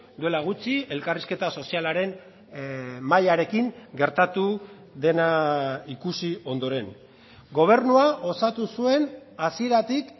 duela gutxi elkarrizketa sozialaren mahaiarekin gertatu dena ikusi ondoren gobernua osatu zuen hasieratik